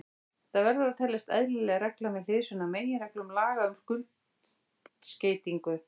Þetta verður að teljast eðlileg regla með hliðsjón af meginreglum laga um skuldskeytingu.